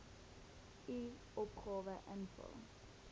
u opgawe invul